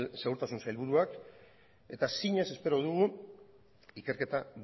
segurtasun sailburuak eta zinez espero dugu ikerketa